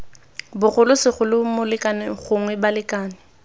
bogolo segolo molekane gongwe balekane